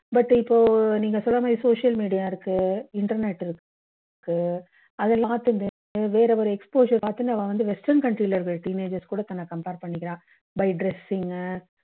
but இப்போ நீங்க சொன்ன மாதிரி social media இருக்கு internet இருக்கு அதுல வேற வேற exposure பார்த்தீங்கன்னா நம்ம வந்து western culture இருக்க teenagers கூட தன்ன compare பண்ணிக்கிறா by dressing